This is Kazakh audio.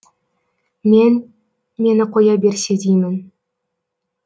мен мені қоя берсе деймін